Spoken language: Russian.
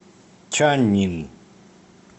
чаннин